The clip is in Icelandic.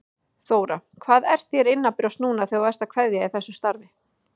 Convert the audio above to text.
Þóra: Hvað er þér innanbrjósts núna þegar þú ert að kveðja í þessu starfi?